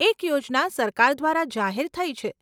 એક યોજના સરકાર દ્વારા જાહેર થઇ છે.